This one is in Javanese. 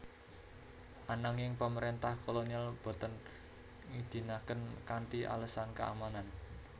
Ananging pamarentah kolonial boten ngidinaken kanthi alesan keamanan